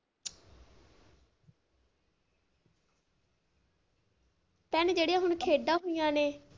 ਭੈਣੇ ਜਿਹੜੀਆਂ ਆਪਣੇ ਖੇਡਾਂ ਹੋਈਆਂ ਨੇ।